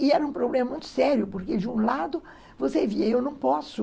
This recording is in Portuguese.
E era um problema muito sério, porque, de um lado, você via , eu não posso